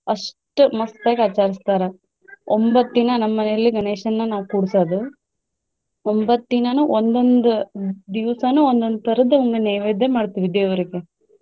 ಅಷ್ಟ್ ಮಸ್ತಾಗಿ ಆಚರಸ್ತಾರ ಒಂಬತ್ತ್ ದಿನ ನಮ್ಮ ಮನೇಲಿ ಗಣೇಶನ್ನ ನಾವ್ ಕೂರ್ಸೋದು ಒಂಬತ್ತ್ ದಿನಾನು ಒಂದೊಂದ್ ದಿವಸಾನು ಒಂದೊಂದ್ ತರದ್ದು ಒಂದು ನೈವೇದ್ಯ ಮಾಡ್ತೇವಿ ದೇವರಿಗೆ.